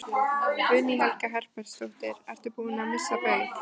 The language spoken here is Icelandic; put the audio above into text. Guðný Helga Herbertsdóttir: Ertu búinn að missa Baug?